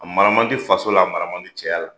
A mara mandi faso la a mara mandi cɛya la